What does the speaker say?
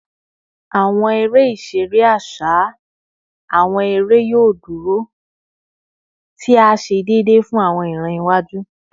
Awọn ere-iṣere aṣa / awọn ere yoo duro, ti a ṣe deede fun awọn iran iwaju